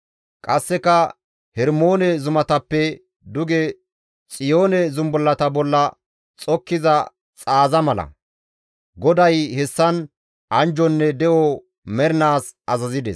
Qasseka Hermoone zumatappe duge Xiyoone Zumbullata bolla xokkiza xaaza mala; GODAY hessan anjjonne de7o mernaas azazides.